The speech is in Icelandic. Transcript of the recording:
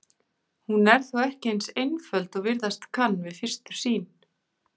Hún er þó ekki eins einföld og virðast kann við fyrstu sýn.